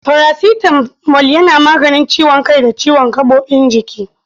Farasitamol yana maganin ciwon kai da ciwon gaɓoɓin jiki.